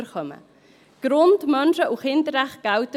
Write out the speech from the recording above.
Für sie gelten Grund-, Menschen- und Kinderrechte.